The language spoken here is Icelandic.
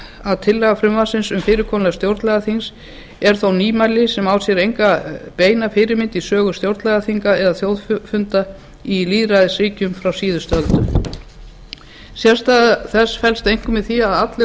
að tillaga frumvarpsins um fyrirkomulag stjórnlagaþings er þó nýmæli sem á sér enga beina fyrirmynd í sögu stjórnlagaþinga eða þjóðfunda í lýðræðisríkjum frá síðustu öldum sérstaða þess felst einkum í því að allir